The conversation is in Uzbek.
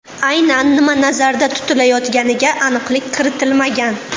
Aynan nima nazarda tutilayotganiga aniqlik kiritilmagan.